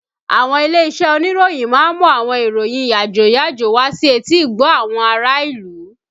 Àwọn ilé-iṣẹ́ oníròyìn ń mú àwọn ìròyìn yàjóyàjó wá sí etí-ìgbọ́ àwọn ará ìlú